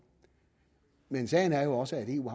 men sagen er jo også at eu